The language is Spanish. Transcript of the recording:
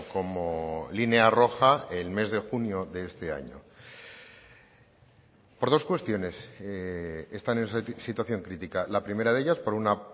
como línea roja el mes de junio de este año por dos cuestiones están en esa situación crítica la primera de ellas por una